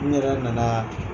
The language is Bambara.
N yɛrɛ nana